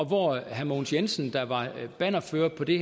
hvor herre mogens jensen der var bannerfører på det